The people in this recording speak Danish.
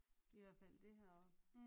I hvert fald det heroppe